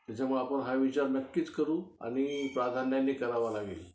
त्याच्यामुळं आपण हा विचार नक्कीच करू, आणि प्राधान्याने करावा लागेल.